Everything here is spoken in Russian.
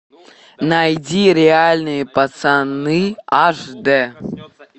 найди реальные пацаны аш дэ